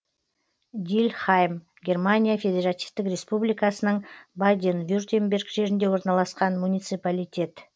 дильхайм германия федеративтік республикасының баден вюртемберг жерінде орналасқан муниципалитет